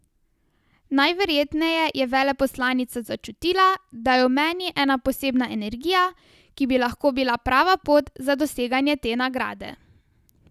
Najverjetneje je veleposlanica začutila, da je v meni ena posebna energija, ki bi lahko bila prava pot za doseganje te nagrade.